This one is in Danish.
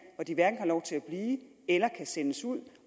hvor de hverken har lov til at blive eller kan sendes ud